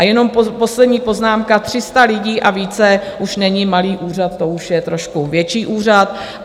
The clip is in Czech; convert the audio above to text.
A jenom poslední poznámka, 300 lidí a více už není malý úřad, to už je trošku větší úřad.